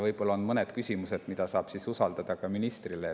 Küllap on mõned küsimused, mis saab usaldada ministrile.